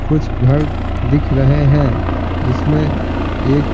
कुछ घर दिख रहे हैं जिसमें एक--